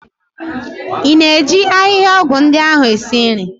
Ị na-eji ahịhịaọgwụ ndi ahụ esi nri?